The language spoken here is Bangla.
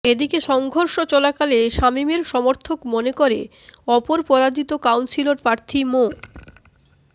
এদিকে সংঘর্ষ চলাকালে শামীমের সমর্থক মনে করে অপর পরাজিত কাউন্সিলর প্রার্থী মো